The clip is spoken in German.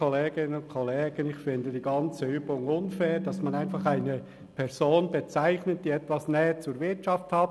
Ich finde die ganze Übung unfair, das heisst, dass man einfach eine Person bezeichnet, die etwas Nähe zur Wirtschaft hat.